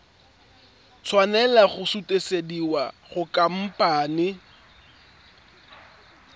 tshwanela go sutisediwa go khamphane